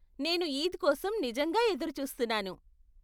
నేను ఈద్ కోసం నిజంగా ఎదురుచూస్తున్నాను.